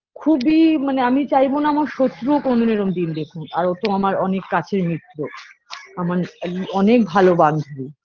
খুবই মানে আমি চাইব না আমার শক্রও কনোদিন এরম দিন দেখুক আর ও তো আমার অনেক কাছের মিত্র আমার আ অনেক ভালো বান্ধবী